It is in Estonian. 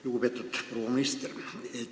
Lugupeetud proua minister!